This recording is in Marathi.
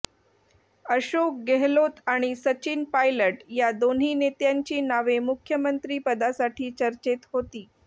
अशोक गेहलोत आणि सचिन पायलट या दोन्ही नेत्यांची नावे मुख्यमंत्रीपदासाठी चर्चेत होती